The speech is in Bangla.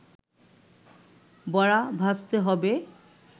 বড়া ভাজতে হবে